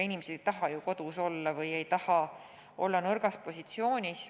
Inimesed ei taha ju kodus olla, ei taha olla nõrgas positsioonis.